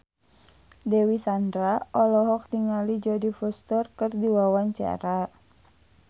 Dewi Sandra olohok ningali Jodie Foster keur diwawancara